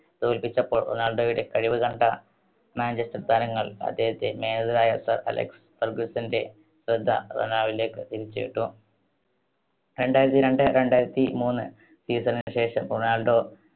തോല്പിച്ചപ്പോൾ റൊണാൾഡോയുടെ കഴിവ് കണ്ട മാഞ്ചെസ്റ്റർ താരങ്ങൾ അദ്ദേഹത്തെ manager ആയ സർ അലക്സ് ഫെർഗ്ഗുസ്സന്റെ ശ്രദ്ധ റൊണാൾഡോയിലേക്ക് തിരിച്ചുവിട്ടു. രണ്ടായിരത്തി രണ്ട് രണ്ടായിരത്തി മൂന്ന് season ശേഷം റൊണാൾഡോ